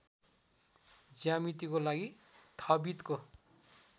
ज्यामितिको लागि थाबितको